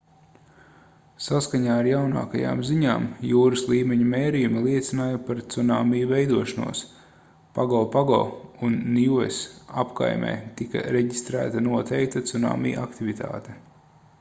saskaņā ar jaunākajām ziņām jūras līmeņa mērījumi liecināja par cunami veidošanos pagopago un niues apkaimē tika reģistrēta noteikta cunami aktivitāte